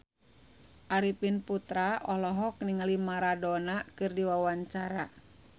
Arifin Putra olohok ningali Maradona keur diwawancara